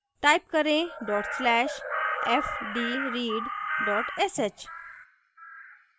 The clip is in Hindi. type करें dot slash fdread dot sh